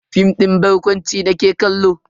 Fim din barkwanci nake kallo.